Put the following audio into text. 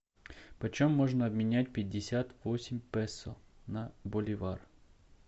почем можно обменять пятьдесят восемь песо на боливар